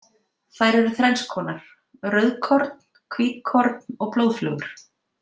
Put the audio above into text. Þær eru þrennskonar, rauðkorn, hvítkorn og blóðflögur.